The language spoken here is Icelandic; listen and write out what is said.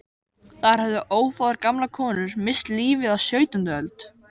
Þar höfðu ófáar gamlar konur misst lífið á sautjándu öld.